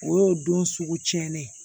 O y'o don sugu tiɲɛnen ye